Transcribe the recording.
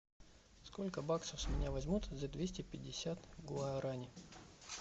сколько баксов с меня возьмут за двести пятьдесят гуарани